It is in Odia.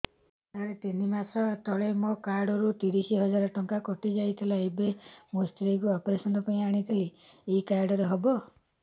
ସାର ତିନି ମାସ ତଳେ ମୋ କାର୍ଡ ରୁ ତିରିଶ ହଜାର ଟଙ୍କା କଟିଯାଇଥିଲା ଏବେ ମୋ ସ୍ତ୍ରୀ କୁ ଅପେରସନ ପାଇଁ ଆଣିଥିଲି ଏଇ କାର୍ଡ ରେ ହବ